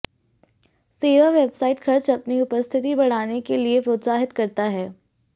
सेवा वेबसाइट खर्च अपनी उपस्थिति बढ़ाने के लिए प्रोत्साहित करता है